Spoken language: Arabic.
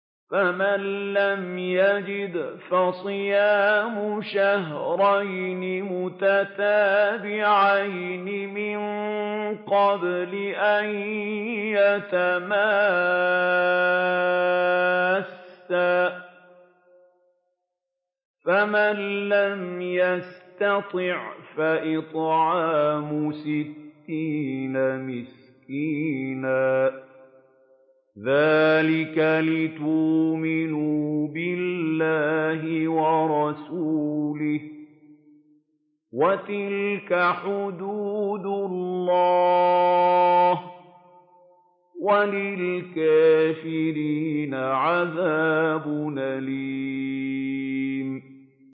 فَمَن لَّمْ يَجِدْ فَصِيَامُ شَهْرَيْنِ مُتَتَابِعَيْنِ مِن قَبْلِ أَن يَتَمَاسَّا ۖ فَمَن لَّمْ يَسْتَطِعْ فَإِطْعَامُ سِتِّينَ مِسْكِينًا ۚ ذَٰلِكَ لِتُؤْمِنُوا بِاللَّهِ وَرَسُولِهِ ۚ وَتِلْكَ حُدُودُ اللَّهِ ۗ وَلِلْكَافِرِينَ عَذَابٌ أَلِيمٌ